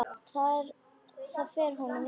Það fer honum vel.